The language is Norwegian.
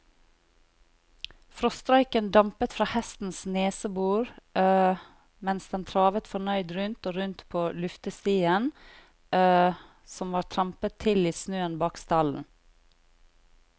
Frostrøyken dampet fra hestens nesebor mens den travet fornøyd rundt og rundt på luftestien som var trampet til i snøen bak stallen.